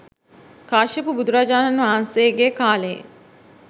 කාශ්‍යප බුදුරජාණන් වහන්සේගේ කාලයේ.